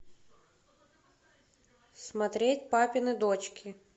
смотреть папины дочки